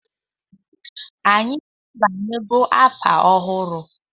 Anyị abanyela afọ ọhụrụ.